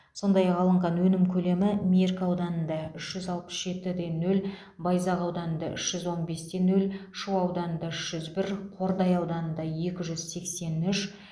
сондай ақ алынған өнім көлемі меркі ауданында үш жүз алпыс жеті де нөл байзақ ауданында үш жүз он бес те нөл шу ауданында үш жүз бір қордай ауданында екі жүз сексен үш